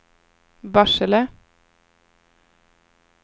Barsele